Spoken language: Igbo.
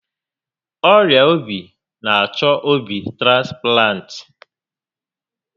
Ọrịa obi n'achọ obi transplant